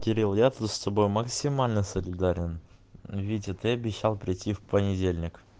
кирилл я же с тобой максимально солидарен витя ты обещал прийти в понедельник